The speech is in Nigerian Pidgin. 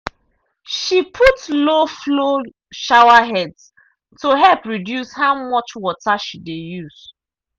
she put low-flow showerheads to help reduce how much water she dey use.